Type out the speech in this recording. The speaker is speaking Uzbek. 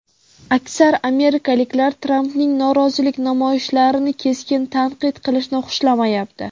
Aksar amerikaliklar Trampning norozilik namoyishchilarini keskin tanqid qilishini xushlamayapti.